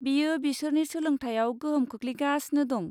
बेयो बिसोरनि सोलोंथाइयाव गोहोम खोख्लैगासिनो दं।